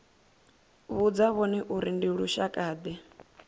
vhudza vhone uri ndi lushakade